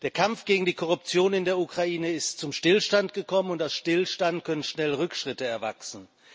Der Kampf gegen die Korruption in der Ukraine ist zum Stillstand gekommen, und aus Stillstand können schnell Rückschritte erwachsen.